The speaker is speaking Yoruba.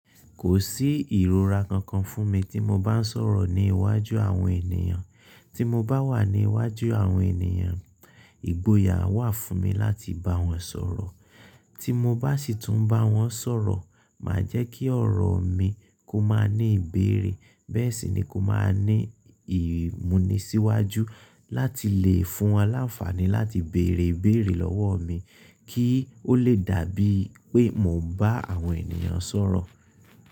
Kò sí ìrora kankan fún mi tí mo bá ń sọ̀rọ̀ ní iwájú àwọn ènìyàn. Tí mo bá wà ní iwájú àwọn ènìyàn, ìgboyà wà fún mi láti bá wọn sọ̀rọ̀. Tí mo bá sì tún bá wọn sọ̀rọ̀, màá jẹ́ kí ọ̀rọ̀ mi kó má ní ìbéèrè. Bẹ́ẹ̀ sì ni kó má ní ìmúnisíwájú láti lè fún aláfààní láti bèrè ìbéèrè lọ́wọ́ mi kí ó lè dàbí pé mò ń bá àwọn ènìyàn sọ̀rọ̀.